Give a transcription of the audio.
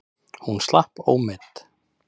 Hún slapp ómeidd.